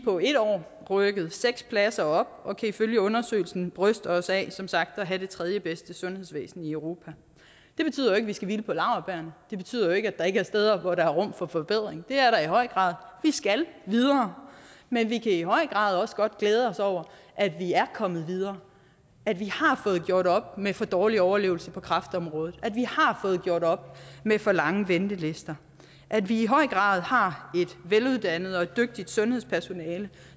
på et år rykket seks pladser op og kan ifølge undersøgelsen bryste os af som sagt at have det tredjebedste sundhedsvæsen i europa det betyder jo vi skal hvile på laurbærrene det betyder jo ikke at der ikke steder hvor der er rum for forbedring det er der i høj grad vi skal videre men vi kan i høj grad også godt glæde os over at vi er kommet videre at vi har fået gjort op med for dårlig overlevelse på kræftområdet at vi har fået gjort op med for lange ventelister at vi i høj grad har et veluddannet og dygtigt sundhedspersonale